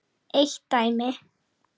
Eitt dæmi.